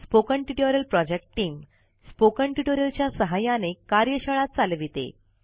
spoken tutorial project team spoken tutorial च्या सहाय्याने कार्यशाळा चालविते